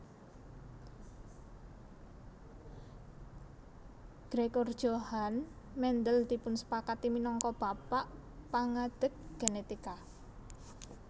Gregor Johann Mendel dipunsepakati minangka Bapak Pangadeg Genetika